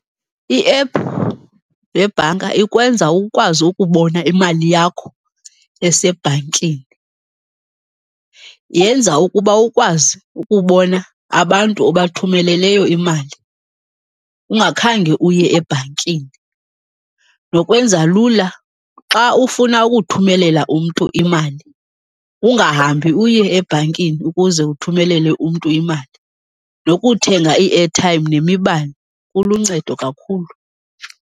Iephu yebhanka ikwenza ukwazi ukubona imali yakho esebhankini. Yenza ukuba ukwazi ukubona abantu obathumeleleyo imali ungakhange uye ebhankini. Nokwenza lula xa ufuna ukuthumelela umntu imali, ungahambi uye ebhankini ukuze uthumelele umntu imali. Nokuthenga ii-airtime nemibane, kuluncedo kakhulu.